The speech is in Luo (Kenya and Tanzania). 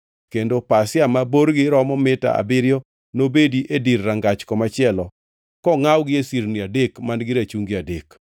kendo pasia ma borgi romo mita abiriyo nobedi e dir rangach komachielo kongʼawgi e sirni adek man-gi rachungi adek.